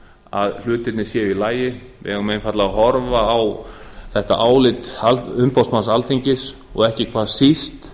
að hlutirnir séu í lagi við eigum einfaldlega horfa á þetta álit umboðsmanns alþingis og ekki hvað síst